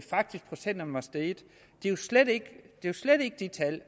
er jo slet ikke de tal